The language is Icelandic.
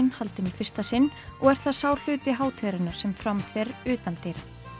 haldinn í fyrsta sinn og er það sá hluti hátíðarinnar sem fram fer utandyra